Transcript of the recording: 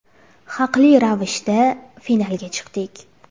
Haqli ravishda finalga chiqdik.